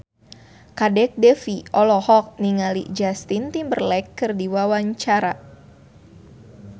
Kadek Devi olohok ningali Justin Timberlake keur diwawancara